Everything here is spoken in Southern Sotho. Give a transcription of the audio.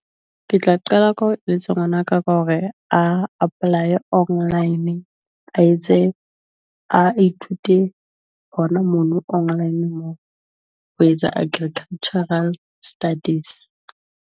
Ke tla qala ka ho eletsa ngwana ka ka hore a apply online, a etse a ithute hona mono online moo ho etsa agricultural studies.